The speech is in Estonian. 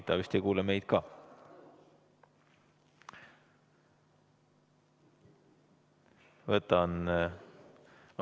Ta vist ei kuule meid ka.